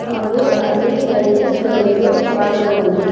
ಹಾಗು ಅಲ್ಲಿ ಲೈಟಿಂಗ್ಸ್ ಗಳನ್ನು ಕಾಣಬಹುದು.